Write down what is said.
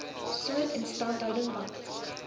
soort instandhouding wat